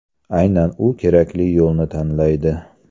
Aynan u kerakli yo‘lni tanlaydi.